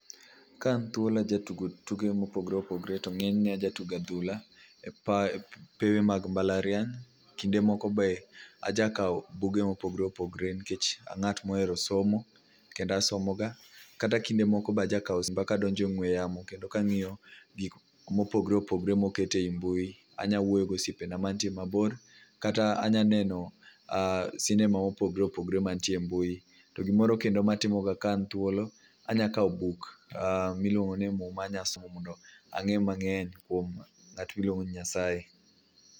Ka an thuolo ajatugo tuke mopogore opogore. To ng'enyne ajatugo adhula e pewe mag mbalariany. Kinde moko be ajakaw buge mopogore opogore nikech ang'at mohero somo kendo asomoga. Kata kinde moko be ajakaw simba kadonje ong'we yamo kendo ka ang'iyo gik mopogore opgore moket e yi mbui. Anya wuoyo go osiepena manie mabor. Kata anyaneno sinema ma opogore opogore mantie mbui. To gimoro kendo ma atimoga ka an thuolo anya kaw buk miluongo ni muma anya somo mondo ang'e mang'eny kuon ng'at miluongo ni Nyasaye.